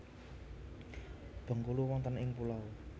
Bengkulu wonten ing pulau